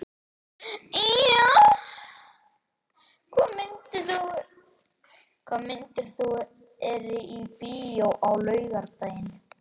Ýja, hvaða myndir eru í bíó á laugardaginn?